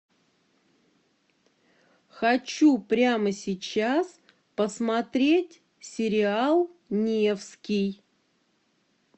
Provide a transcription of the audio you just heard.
хочу прямо сейчас посмотреть сериал невский